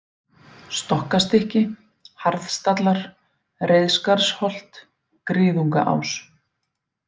Stokkastykki, Harðstallar, Reiðskarðsholt, Griðungaás